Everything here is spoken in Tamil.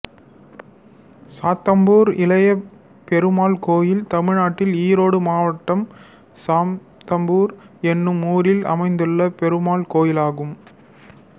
சாத்தம்பூர் இளைய பெருமாள் கோயில் தமிழ்நாட்டில் ஈரோடு மாவட்டம் சாத்தம்பூர் என்னும் ஊரில் அமைந்துள்ள பெருமாள் கோயிலாகும்